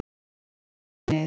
Fleiri útlendingar í neyð